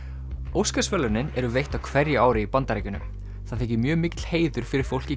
Óskarsverðlaunin eru veitt á hverju ári í Bandaríkjunum það þykir mjög mikill heiður fyrir fólk í